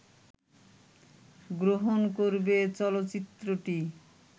গ্রহণ করবে চলচ্চিত্রটি